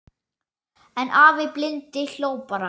En afi blindi hló bara.